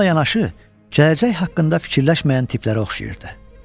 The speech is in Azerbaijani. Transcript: Bununla yanaşı, gələcək haqqında fikirləşməyən tiplərə oxşayırdı.